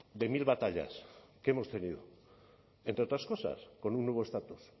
de mil batallas que hemos tenido entre otras cosas con un nuevo estatus